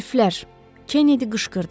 Hərflər, Kenedi qışqırdı.